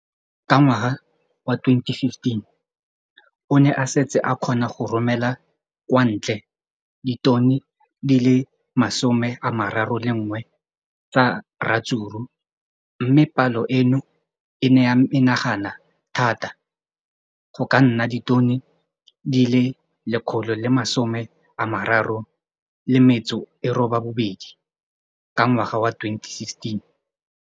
Ka ngwaga wa 2015, o ne a setse a kgona go romela kwa ntle ditone di le 31 tsa ratsuru mme palo eno e ne ya menagana thata go ka nna ditone di le 168 ka ngwaga wa 2016.